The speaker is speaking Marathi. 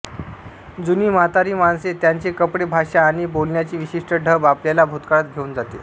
जुनी म्हातारी माणसे त्यांचे कपडे भाषा आणि बोलण्याची विशिष्ट ढब आपल्याला भूतकाळात घेऊन जाते